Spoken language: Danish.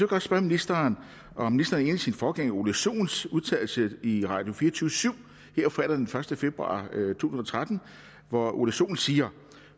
godt spørge ministeren om ministeren er sin forgænger ole sohns udtalelse i radio24syv her fredag den første februar to tusind og tretten hvor ole sohn siger